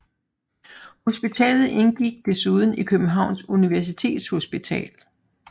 Hospitalet indgik desuden i Københavns Universitetshospital